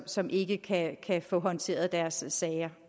som ikke kan få håndteret deres sager